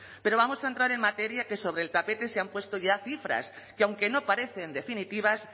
pero vamos a entrar en materia que sobre el tapete se han puesto ya cifras que aunque no parecen definitivas